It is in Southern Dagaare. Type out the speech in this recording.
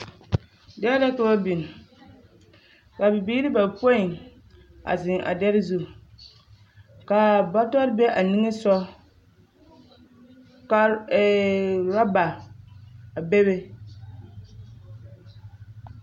Dɛrɛ la ka ba biŋ ka bibiiri bapoi zeŋee a dɛrɛ zu kaa bɔtɔrɔ be a nimisogɔ ka eee orɔba a be be